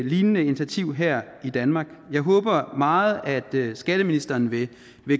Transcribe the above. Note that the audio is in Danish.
lignende initiativ her i danmark jeg håber meget at skatteministeren vil